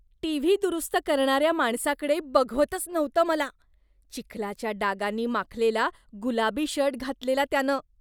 TV दुरुस्त करणाऱ्या माणसाकडे बघवतच नव्हतं मला. चिखलाच्या डागांनी माखलेला गुलाबी शर्ट घातलेला त्यानं.